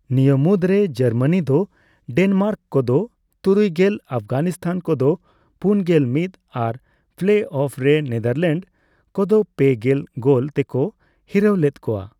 ᱱᱤᱭᱟᱹ ᱢᱩᱫᱨᱮ, ᱡᱟᱨᱢᱟᱱᱤ ᱫᱚ ᱰᱮᱱᱢᱟᱨᱠ ᱠᱚᱫᱚ ᱛᱩᱨᱩᱭᱜᱮᱞ ; ᱟᱯᱷᱜᱟᱱᱤᱥᱛᱷᱟᱱ ᱠᱚᱫᱚ ᱯᱩᱱᱜᱮᱞ ᱢᱤᱫ ᱟᱨ ᱯᱞᱮᱼᱚᱯᱷ ᱨᱮ ᱱᱮᱫᱟᱨᱞᱮᱱᱰ ᱠᱚᱫᱚ ᱯᱮᱜᱮᱞ ᱜᱳᱞ ᱛᱮᱠᱚ ᱦᱤᱨᱟᱹᱣ ᱞᱮᱫ ᱠᱚᱣᱟ ᱾